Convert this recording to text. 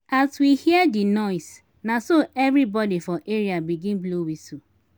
as we hear di noise na so everybodi for area begin blow wistle.